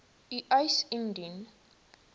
u eis indien